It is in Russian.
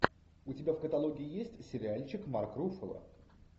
у тебя в каталоге есть сериальчик марк руффало